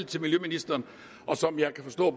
til miljøministeren og som jeg kan forstå